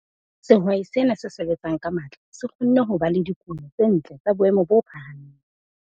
Sehwai sena se sebetsang ka matla se kgonne ba le dikuno tse ntle tsa boemo bo phahameng.